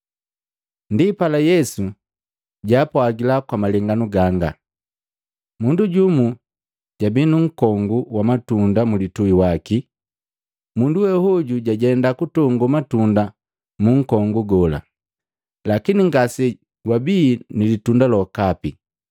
Ndipala Yesu jaapwagila kwa malenganu ganga, “Mundu jumu jabi nunkongu wa matunda mulitui waki. Mundu we hoju jajenda kutongo matunda munkongu gola, lakini ngasegwabii nilitunda lokapi.